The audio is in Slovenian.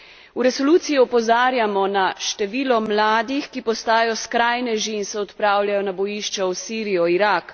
V resoluciji opozarjamo na število mladih, ki postajajo skrajneži in se odpravljajo na bojišča v Sirijo, Irak.